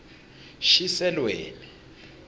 shiselweni